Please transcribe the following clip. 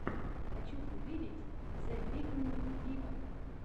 хочу увидеть зе викнд виво